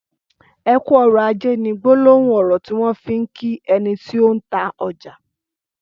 ''Ẹkù ọrọ àjé'' ni gbòlòhùn ọrọ tiwọn fi n kí ẹni ti ó n tà ọjà